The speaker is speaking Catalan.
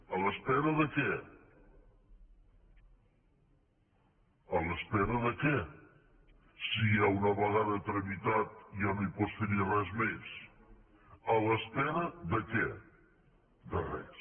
a l’espera de què a l’espera de què si una vegada tramitat ja no pots fer hi res més a l’espera de què de res